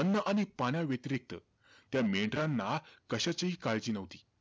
अन्न आणि पाण्याव्यतिरिक्त, त्या मेंढरांना कशाचीही काळजी नव्हती.